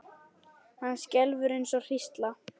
Hann skelfur eins og hrísla.